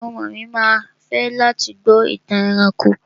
Àwọn ọmọ mi ma fẹ́ láti gbọ́ ìtàn ẹranko.